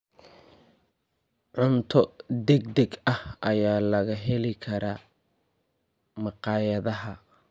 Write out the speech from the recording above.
Cunto degdeg ah ayaa laga heli karaa makhaayadaha.